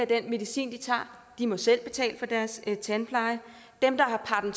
den medicin de tager de må selv betale for deres tandpleje dem der har